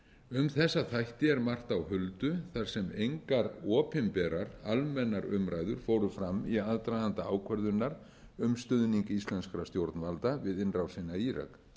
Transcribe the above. um þessa þætti er margt á huldu þar sem engar opinberar almennar umræður fóru fram í aðdraganda ákvörðunar um stuðning íslenskra stjórnvalda við innrásina í írak